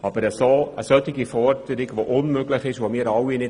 Die EVP unterstützt eine solch unmögliche Forderung sicher nicht.